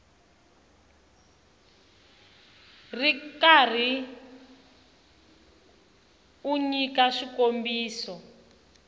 ri karhi u nyika swikombiso